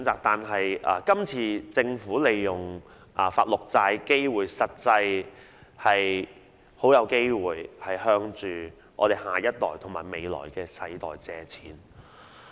但今次政府發行綠色債券，實際上很有機會向下一代和未來的世代借款。